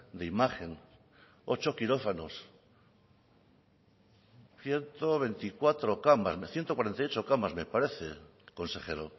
de imagen ocho quirófanos ciento cuarenta y ocho camas me parece consejero